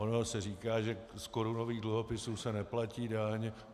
Ono se říká, že z korunových dluhopisů se neplatí daň.